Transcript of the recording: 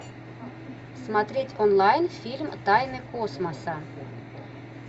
смотреть онлайн фильм тайны космоса